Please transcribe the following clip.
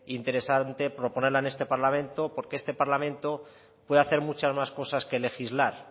interesante proponer en este parlamento porque este parlamento pueda hacer muchas más cosas que legislar